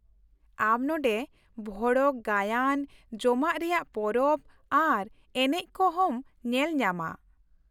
ᱟᱢ ᱱᱚᱸᱰᱮ ᱵᱷᱚᱲᱚᱠᱼᱜᱟᱭᱟᱱ, ᱡᱚᱢᱟᱜ ᱨᱮᱭᱟᱜ ᱯᱚᱨᱚᱵᱽ ᱟᱨ ᱮᱱᱮᱡ ᱠᱚ ᱦᱚᱸᱢ ᱧᱮᱞ ᱧᱟᱢᱟ ᱾